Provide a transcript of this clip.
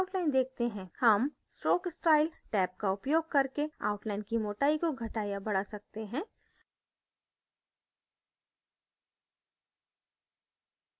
हम stroke style tab का उपयोग करके outline की मोटाई को घटा या बढा सकते हैं